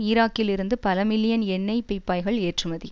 ஈராக்கில் இருந்து பல மில்லியன் எண்ணெய் பீப்பாய்கள் ஏற்றுமதி